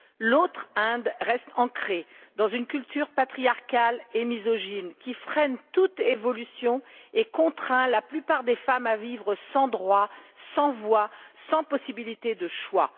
L'autre Inde reste ancrée dans une culture patriarcale et misogyne, qui freine toute évolution et contraint la plupart des femmes à vivre sans droits, sans voix, sans possibilités de choix.